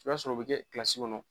I b'a sɔrɔ u bɛ kɛ kɔnɔ